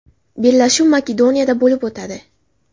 Bellashuv Makedoniyada bo‘lib o‘tadi.